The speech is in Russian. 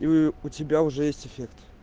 и у тебя уже есть эффект